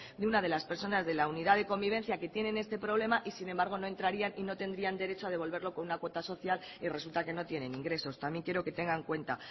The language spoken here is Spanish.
de una de las personas de la unidad de convivencia que tienen este problema y sin embargo no entrarían y no tendrían derecho a devolverlo con una cuota social y resulta que no tienen ingresos también quiero que eso tenga en cuenta